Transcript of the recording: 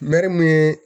Mɛ mun ye